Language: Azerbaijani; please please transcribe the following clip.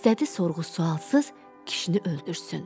İstədi sorğu-sualsız kişini öldürsün.